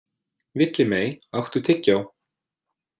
Villimey, áttu tyggjó?